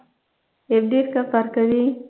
எப்படி இருக்க பார்கவி